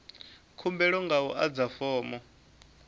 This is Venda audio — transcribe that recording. khumbelo nga u adza fomo